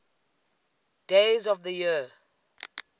days of the year